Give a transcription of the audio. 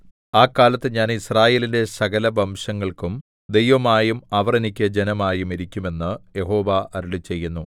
ആ കാലത്ത് ഞാൻ യിസ്രായേലിന്റെ സകലവംശങ്ങൾക്കും ദൈവമായും അവർ എനിക്ക് ജനമായും ഇരിക്കും എന്ന് യഹോവ അരുളിച്ചെയ്യുന്നു